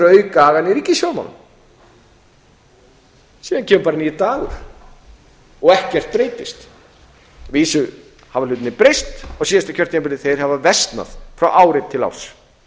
auka agann í ríkisfjármálum síðan kemur bara nýr dagur og ekkert breytist að vísu hafa hlutirnir breyst á síðasta kjörtímabili þeir hafa versnað frá ári til árs